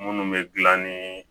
Munnu bɛ gilan ni